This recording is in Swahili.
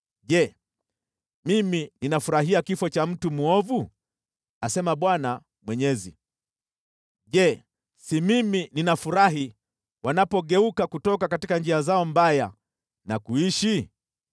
Je, mimi ninafurahia kifo cha mtu mwovu? Asema Bwana Mwenyezi. Je, si mimi ninafurahi wanapogeuka kutoka njia zao mbaya na kuishi?